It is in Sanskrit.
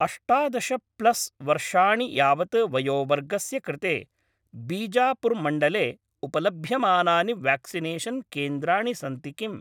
अष्टादश प्लस् वर्षाणि यावत् वयोवर्गस्य कृते बीजापुर् मण्डले उपलभ्यमानानि व्याक्सिनेषन् केन्द्राणि सन्ति किम्?